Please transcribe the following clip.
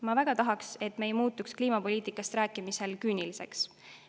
Ma väga tahaks, et me ei muutuks kliimapoliitikast rääkimisel küüniliseks.